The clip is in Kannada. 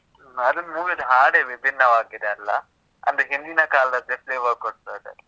ಆ ಅದೊಂದ್ movie ಅಲ್ಲಿ ಹಾಡೇ ವಿಭಿನ್ನವಾಗಿದೆ ಅಲ್ಲ? ಅಂದ್ರೆ ಹಿಂದಿನ ಕಾಲದ್ದೇ flavor ಕೊಡ್ತದೆ.